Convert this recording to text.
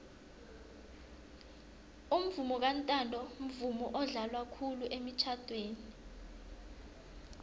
umvomo kantanto mvumo odlalwa khulu emitjhadweni